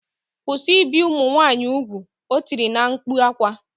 Kwụsị ibi ụmụ nwaanyị ugwu! O tiri na mkpu akwa